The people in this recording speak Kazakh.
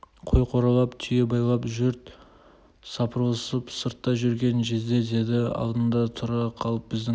қой қоралап түйе байлап жұрт сапырылысып сыртта жүрген жезде деді алдына тұра қалып біздің